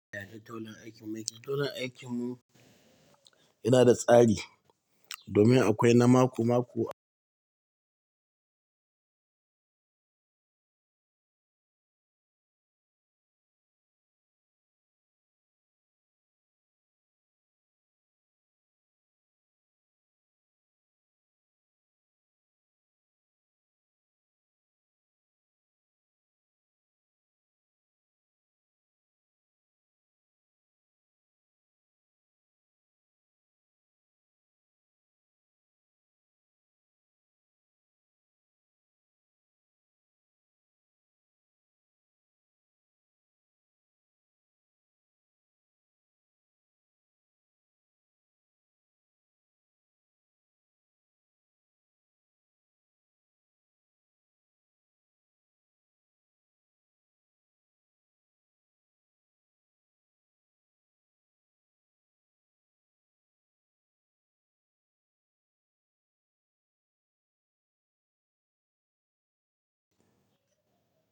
Yaya taulan aikin mu yake? Taulan aikin mu yana da tsari domin akwai na mako-mako.